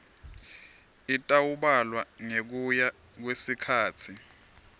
itawubalwa ngekuya kwesikhatsi